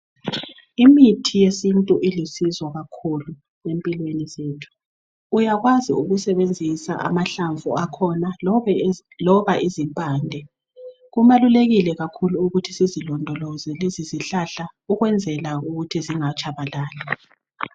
Omithi yesintu ilusizo kakhulu empilweni zethu uyalwazi ukusebenzisa amahlamvu akhona loba izipande kubalulelile kakhulu ukuthi sizilondoloze lezizihlahla ukwenzela ukuthi zingatshabalali